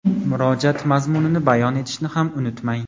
murojaat mazmunini bayon etishni ham unutmang.